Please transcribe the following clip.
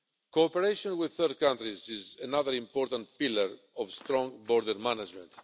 Cooperation with third countries is another important pillar of strong border management.